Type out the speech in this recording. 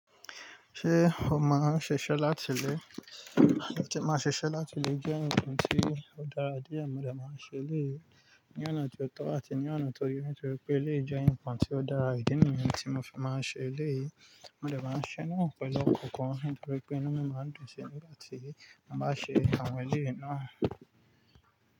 Ṣé o máa ń ṣiṣẹ́ láti ilé? Máa ṣiṣẹ́ láti ilè jẹ́ nkan tí ó dára díẹ̀. Mo de máa ń ṣe eléyii ní ọ̀nà tó tọ́ àti ní ọ̀nà tó yé nítorí pé eleyii jẹ́ nkan tí ó dára ìdí nìyẹn tí mo fi máa ń ṣe eleyii Mo de máa ń ṣẹ́ naa pẹ̀lú ọkọ̀ kan nítorí pé inú mi máa ń dùn si nígbà tí mo bá ṣe àwọn eleyii náà.